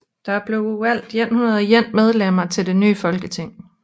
Der blev valgt 101 medlemmer til det nye folketing